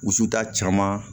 Wusuta caman